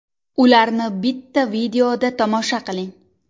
Ularni bitta videoda tomosha qiling !